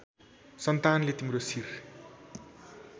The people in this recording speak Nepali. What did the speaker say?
सन्तानले तिम्रो शिर